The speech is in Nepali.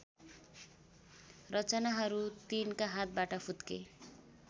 रचनाहरु तिनका हातबाट फुत्के